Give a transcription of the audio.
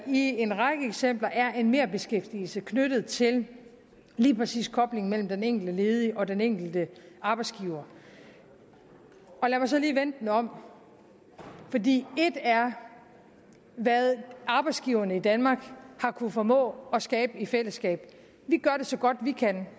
i en række eksempler er en merbeskæftigelse knyttet til lige præcis koblingen mellem den enkelte ledige og den enkelte arbejdsgiver lad mig så lige vende den om fordi et er hvad arbejdsgiverne i danmark har kunnet formå at skabe i fællesskab vi gør det så godt vi kan